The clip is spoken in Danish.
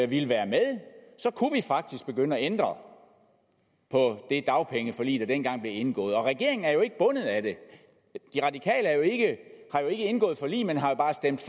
ville være med kunne vi faktisk begynde at ændre på det dagpengeforlig der dengang blev indgået og regeringen er jo ikke bundet af det de radikale har ikke indgået forlig men har jo bare stemt